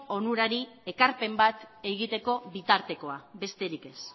onurari ekarpen bat egiteko bitartekoa besterik ez